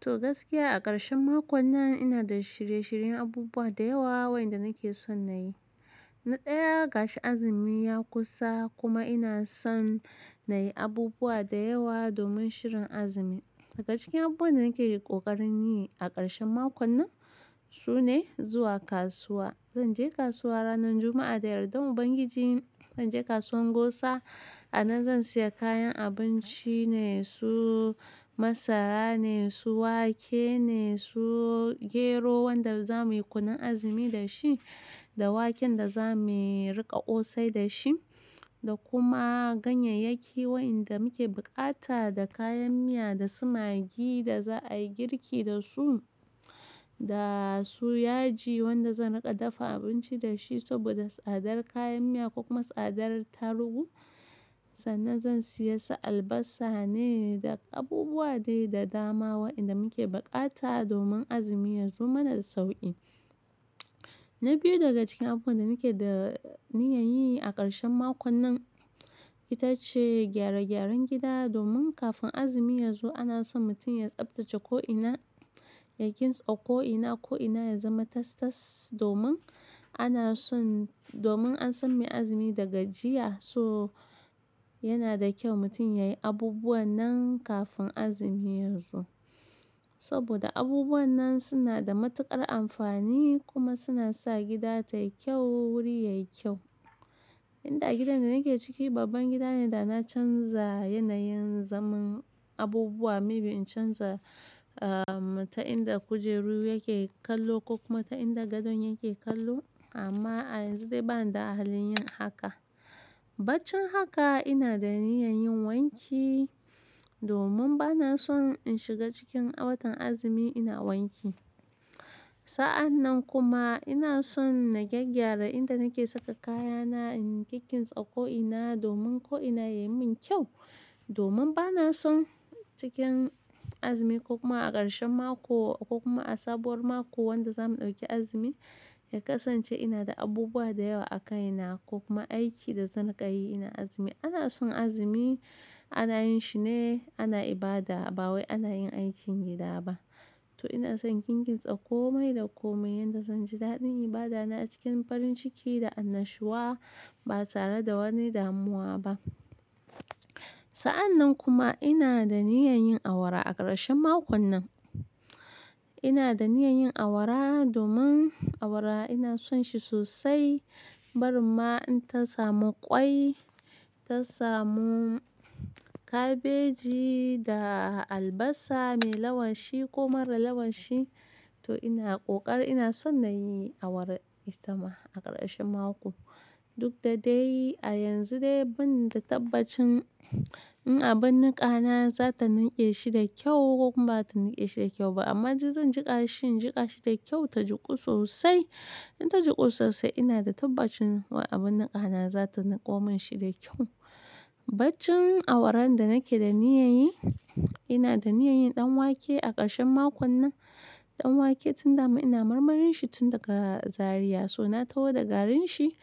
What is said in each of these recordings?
To gaskiya a ƙarshen makon nan ina da shirye-shiryen abubuwa da yawa waɗanda nake son na yi. Na ɗaya ga shi azumi ya kusa kuma ina son na yi abubuwa da yawa domin shirin azumi. Daga cikin abubuwan da nake ƙoƙarin yi a ƙarshen makon nan su ne zuwa kasuwa. Zan je kasuwa ranar Juma'a da yardan Ubangiji. Zan je kasuwan Gosa a nan zan siya kayan abinci ne su masara ne, su wake ne, su gero wanda za mu yi kunun azumi da shi, da waken da za mu riƙa kosai da shi, da kuma ganyayyaki waɗanda muke bukata da kayan miya da su magi da za a yi girki da su, da su yaji wanda zan riƙa dafa abinci da shi saboda tsadar kayan miya kuma tsadar tarugu. Sannan zan siya su albasa ne da abubuwa dai da dama waɗanda muke bukata domin azumi yazo mana da sauƙi. Na biyu daga cikin abubuwan da nake da niyyar yi a ƙarshen makon nan ita ce gyare-gyaren gida domin kafin azumi yazo ana son mutum ya tsaftace ko'ina, ya kintsa ko'ina, ko'ina ya zama tas-tas domin ana son, domin an san mai azumi daga jiya, so yana da kyau mutum ya yi abubuwan nan kafin azumi yazo. Saboda abubuwan nan suna da matuƙar amfani kuma suna sa gida tayi kyau, wuri yayi kyau. Inda gidan da nake ciki babban gida ne da na canza yanayin zaman abubuwa, maybe in canza, ah, ta'inda kujeru yake kallo ko kuma ta'inda gadon yake kallo amma a yanzu dai bani da ahalin yin haka. Baccin haka ina da niyyar yin wanki domin bana son in shiga cikin watan azumi ina wanki. Sa'an nan kuma ina son na gyaggyara inda nake saka kayana, in kinkintsa ko'ina domin ko'ina yayi min kyau. Domin bana son cikin azumi ko kuma a ƙarshen mako ko kuma a sabuwar mako wanda za mu ɗauki azumi ya kasance ina da abubuwa da yawa a kai na ko kuma aiki da zan rinka yi ina azumi. Ana son azumi ana yin shi ne ana ibada ba wai ana yin aikin gida ba. To ina son in kinkintsa komai da komai yadda zan ji daɗin ibada na cikin farin ciki da annashuwa ba tare da wani damuwa ba. Sa'an nan kuma ina da niyyar yin awara a ƙarshen makon nan. Ina da niyyar yin awara domin awara ina son shi sosai. Barin ma in ta samu ƙwai, ta samu kabeji da albasa mai lawashi ko mara lawashi to ina ƙoƙari ina son na yi awara. Itama a ƙarshen mako. Duk da dai a yanzu dai banda tabbacin in abin niƙa na za ta ninke shi da ƙyau ko kuma bazata ninke shi da ƙyau ba amma zan jiƙa shi, in jiƙa shi tayi ƙyau ta juku sosai. In ta juku sosai ina da tabbacin wai abun niƙa na za ta niƙo min shi da kyau. Baccin awaran da nake da niyyar yi, ina da niyyar yin ɗan wake a ƙarshen makon nan. Ɗan wake tun dama ina marmarin shi tun daga Zariya, so na taho da garin shi.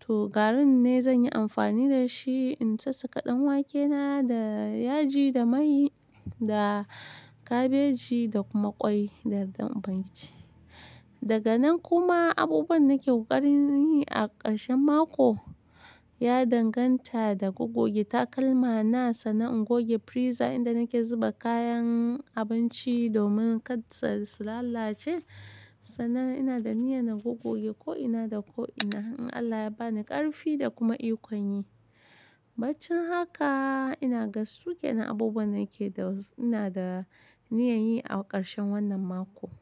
To garin ne zanyi amfani dashi in sassaka ɗan wake na da yaji, da mai, da kabeji da kuma ƙwai da yardan Ubangiji. Daga nan kuma abubuwan nake ƙoƙarin yi a ƙarshen mako ya danganta da gogoge takalma na sannan in goge friza inda nake zuba kayan abinci domin karsu su lalace. Sannan ina da niyyar na gogoge ko'ina da ko'ina in Allah ya bani ƙarfi da kuma ikon yi. Baccin haka inaga sukenan abubuwan nake da, ina da niyyar yi a ƙarshen wannan mako.